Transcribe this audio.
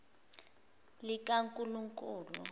likankulunkulu